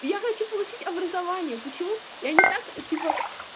я хочу получить образование почему я не так типо